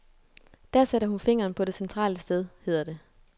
Der sætter hun fingeren på det centrale sted, hedder det.